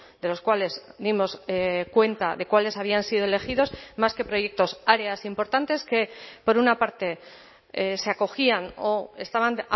de los cuales dimos cuenta de cuáles habían sido elegidos más que proyectos áreas importantes que por una parte se acogían o estaban